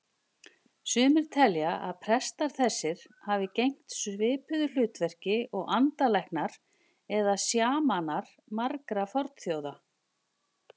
Sumir telja að prestar þessir hafi gegnt svipuðu hlutverki og andalæknar eða sjamanar margra fornþjóða.